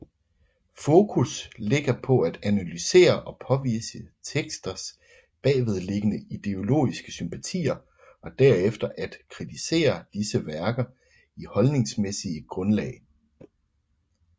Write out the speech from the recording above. Fokus ligger på at analysere og påvise teksters bagvedliggende ideologiske sympatier og derefter at kritisere disse værkers holdningsmæssige grundlag